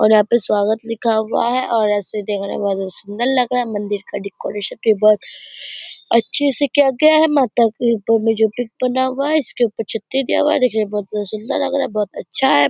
और यहाँ पे स्वागत लिखा हुआ है और ऐसे देखने में बहोत ही सुन्दर लग रहा है मंदिर का डेकोरेशन भी बहोत अच्छे से किया गया है माता की ऊपर मे जो पिक बना हुआ है इसके ऊपर छत्ती दिया हुआ है देखने में बहोत ही सुन्दर लग रहा है बहोत अच्छा है।